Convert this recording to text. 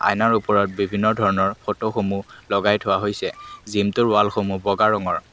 আইনৰ ওপৰত বিভিন্ন ধৰণৰ ফটো সমূহ লগাই থোৱা হৈছে জিমটোৰ ৱালসমূহ বগা ৰঙৰ।